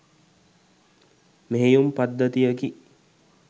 මෙහෙයුම් පද්ධතියකි.